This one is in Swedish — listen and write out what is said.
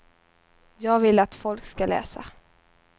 Jag vill att folk ska läsa.